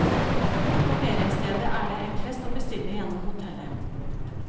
På feriestedet er det enklest å bestille gjennom hotellet.